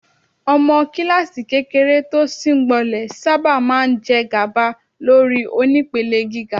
Ọmọ kíláàsì kékeré tó síngbọnlẹ̀ sábà máa ń jẹgàba lórí onípele gíga.